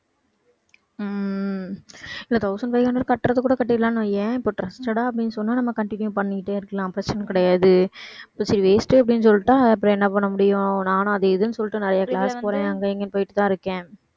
உம் இல்ல thousand five hundred கட்டுறது கூட கட்டிறலாம்னு வையேன். இப்ப trusted ஆ அப்படின்னு சொன்னா நம்ம continue பண்ணிட்டே இருக்கலாம். பிரச்சனை கிடையாது சரி waste அப்படின்னு சொல்லிட்டா அப்புறம் என்ன பண்ண முடியும் நானும் அதை இதுன்னு சொல்லிட்டு நிறைய class போறேன் அங்கேயும் இங்கேயும் போயிட்டு தான் இருக்கேன்